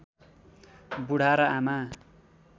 बुढा र आमा